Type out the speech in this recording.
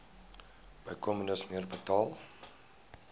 bykomende smere betaal